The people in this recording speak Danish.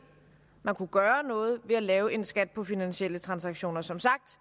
man kunne gøre noget ved at lave en skat på finansielle transaktioner som sagt